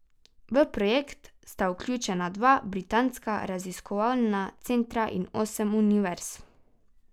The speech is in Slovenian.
V projekt sta vključena dva britanska raziskovalna centra in osem univerz.